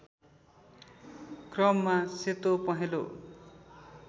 क्रममा सेतो पहेँलो